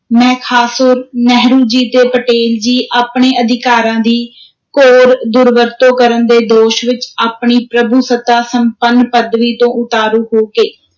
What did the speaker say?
ਮਹਿਖਾਸੁਰ, ਨਹਿਰੂ ਜੀ ਤੇ ਪਟੇਲ ਜੀ, ਆਪਣੇ ਅਧਿਕਾਰਾਂ ਦੀ ਘੋਰ ਦੁਰਵਰਤੋਂ ਕਰਨ ਦੇ ਦੋਸ਼ ਵਿਚ, ਆਪਣੀ ਪ੍ਰਭੂਸੱਤਾ ਸੰਪੰਨ ਪਦਵੀ ਤੋਂ ਉਤਾਰੂ ਹੋ ਕੇ,